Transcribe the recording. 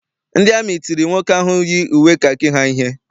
Ndị amị tiri nwoke ahụ yi uwe kakị ha ihe.